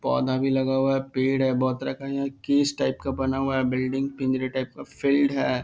पौधा भी लगा हुआ है पेड़ है। बहुत तरह का यहां एक बना हुआ है बिल्डिंग पिंजरे टाइप का फील्ड है |